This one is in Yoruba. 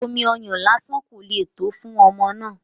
Omi ọyàn lásán kò le tó fún ọmọ náà